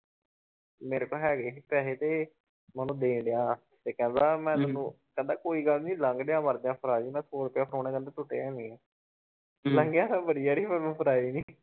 ਮੇਰੇ ਕੋਲ ਹੈਗੇ ਸੀ ਪੈਸੇ ਤੇ ਮੈਂ ਉਹਨੂੰ ਦੇਣ ਡਿਆ, ਤੇ ਕਹਿੰਦਾ ਮੈਂ ਤੈਨੂੰ ਕਹਿੰਦਾ ਕੋਈ ਗੱਲ ਨੀ ਲੰਗਦਿਆਂ ਕਰਦਿਆਂ ਫੜਾ ਜਾਈ ਮੈਂ ਸੌ ਰੁਪਏ ਫੜਾਉਣਾ ਕਹਿੰਦਾ ਟੁੱਟੇ ਹੈ ਨੀ ਹੈ ਲੰਘਿਆ ਫਿਰ ਬੜੀ ਵਾਰੀ ਪਰ ਮੈਂ ਫੜਾਏ ਨੀ।